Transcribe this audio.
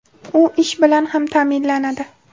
U ish bilan ham ta’minlanadi.